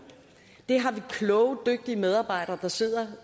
det har vi kloge dygtige medarbejdere der sidder